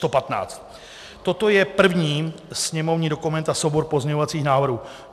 Toto je první sněmovní dokument a soubor pozměňovacích návrhů.